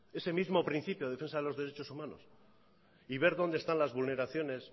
ese mismo principio de defensa de los derechos humanos y ver dónde están las vulneraciones